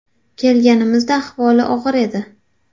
Kelganimizda ahvoli og‘ir edi.